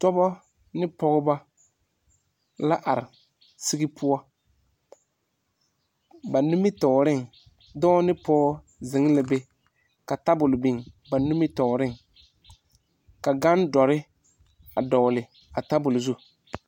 Dɔba ne pɔgba la arẽ sigi pou ba nimitoɔring doɔ ne pou zeng la be ka tabol bing ba nimitoɔring ka gang dɔri a dɔgli a tabol zu.